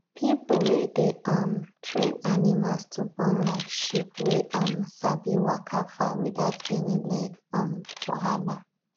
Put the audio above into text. people wey dey um train animals to born like sheep wey um sabi waka far without any leg um wahala